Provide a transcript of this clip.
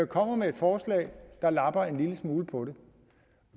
kommer med et forslag der lapper en lille smule på det